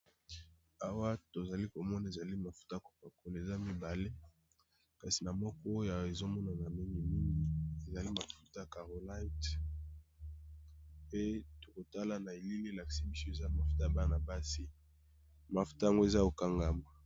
Awa to zali ko mona ezali mafuta ya copakola eza mibale. Kasi na moko oyo ezo monana mingi mingi ezali mafuta ya carolit. Pe to kotala na elili elakisi biso mafuta ya bana basi. Mafuta yango eza ya ko kangama.